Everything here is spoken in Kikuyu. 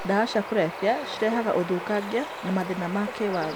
Ndawa cirehaga ũthũkangia na mathĩna ma kĩwatho.